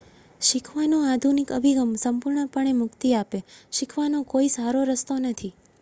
શીખવાનો આધુનિક અભિગમ સંપૂર્ણપણે મુક્તિ આપે.શીખવાનો કોઈ સારો રસ્તો નથી